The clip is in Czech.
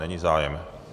Není zájem.